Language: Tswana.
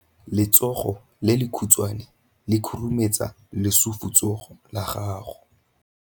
Letsogo le lekhutshwane le khurumetsa lesufutsogo la gago.